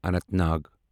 Anant Nag